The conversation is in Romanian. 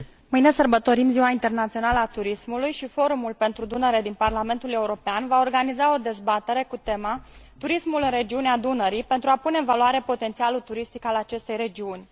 Mâine sărbătorim Ziua Internațională a Turismului, iar Forumul pentru Dunăre din Parlamentul European va organiza o dezbatere cu tema Turismul în Regiunea Dunării pentru a pune în valoare potențialul turistic al acestei regiuni.